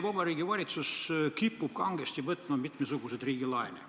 Vabariigi Valitsus kipub kangesti võtma mitmesuguseid riigilaene.